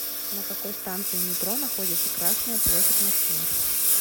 на какой станции метро находится красная площадь в москве